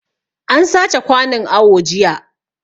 An sace kwanun awo jiya